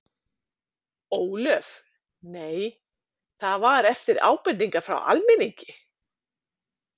Ólöf: Nei, það var eftir ábendingar frá almenningi?